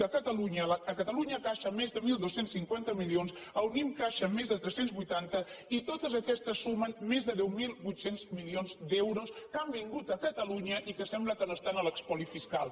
a catalunya caixa més de dotze cinquanta milions a unnim caixa més de tres cents i vuitanta i totes aquestes sumen més de deu mil vuit cents milions d’euros que han vingut a catalunya i que sembla que no estan a l’espoli fiscal